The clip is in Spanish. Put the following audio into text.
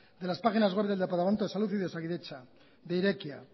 de las páginas web del departamento de salud y de osakidetza de irekia